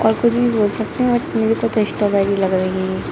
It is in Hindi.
और कुछ भी बोल सकते हैं पर मेरे कोह तोह स्ट्रॉबेरी लग रही हैं ये